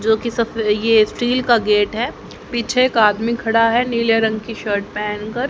जोकि स ये स्टील का गेट है पीछे एक आदमी खड़ा है नीले रंग की शर्ट पहेन कर--